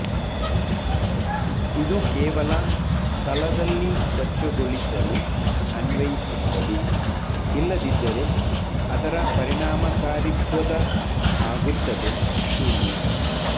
ಇದು ಕೇವಲ ತಳದಲ್ಲಿ ಸ್ವಚ್ಛಗೊಳಿಸಲು ಅನ್ವಯಿಸುತ್ತದೆ ಇಲ್ಲದಿದ್ದರೆ ಅದರ ಪರಿಣಾಮಕಾರಿತ್ವದ ಆಗುತ್ತದೆ ಶೂನ್ಯ